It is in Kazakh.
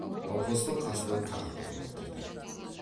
науқастың қасына тағы кеп отырды